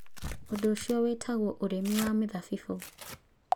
Ũndũ ũcio wĩtagwo ũrĩmi wa mĩthabibũ.